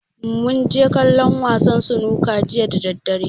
Mun je kallon wasan sunuka jiya da daddare.